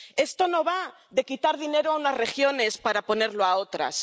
Esto no va de quitar dinero a unas regiones para ponerlo a otras.